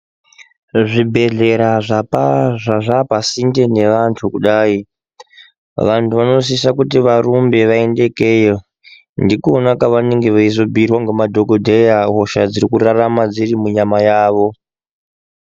Zvibhedhlera zvapaa zvazvaapasinde neantu kudai, vantu vanosisa kuti vanosise kuti varumbe vaende ikeyo. Ndikona kavanozobhuirwa nemadhokodheya hosha dziri kurarama dziri munyama yavo.